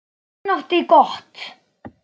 En hann átti gott.